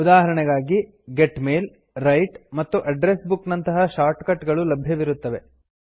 ಉದಾಹರಣೆಗಾಗಿ get mail write ಮತ್ತು address book ನಂತಹ ಶಾರ್ಟ್ ಕಟ್ ಗಳು ಲಭ್ಯವಿರುತ್ತವೆ